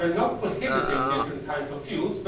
We are not prohibiting different kinds of fuels